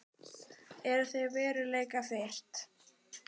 Eru þau veruleikafirrt?